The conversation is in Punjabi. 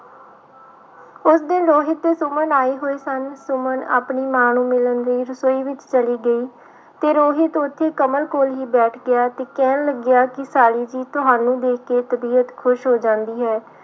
ਉਸ ਦਿਨ ਰੋਹਿਤ ਤੇ ਸੁਮਨ ਆਏ ਹੋਏ ਸਨ, ਸੁਮਨ ਆਪਣੀ ਮਾਂ ਨੂੰ ਮਿਲਣ ਲਈ ਰਸੋਈ ਵਿੱਚ ਚਲੀ ਗਈ ਤੇ ਰੋਹਿਤ ਉੱਥੇ ਕਮਲ ਕੋਲ ਹੀ ਬੈਠ ਗਿਆ ਤੇ ਕਹਿਣ ਲੱਗਿਆ ਕਿ ਸਾਲੀ ਜੀ ਤੁਹਾਨੂੰ ਦੇਖ ਕੇ ਤਬੀਅਤ ਖ਼ੁਸ਼ ਹੋ ਜਾਂਦੀ ਹੈ।